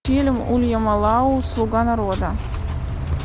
фильм уильяма лау слуга народа